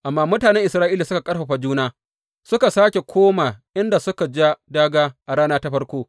Amma mutanen Isra’ila suka ƙarfafa juna, suka sāke koma inda suka ja dāgā a rana ta farko.